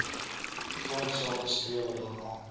grondsake strewe daarna